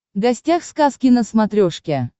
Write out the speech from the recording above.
гостях сказки на смотрешке